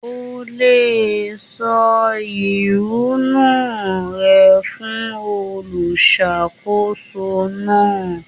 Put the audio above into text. O le sọ ehúnú rẹ fún olùṣàkóso náà.